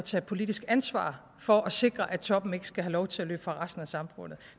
at tage politisk ansvar for at sikre at toppen ikke skal have lov til at løbe fra resten af samfundet